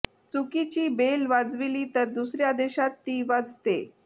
चुकीची बेल वाजविली तर दुसर्या देशात ती वाजते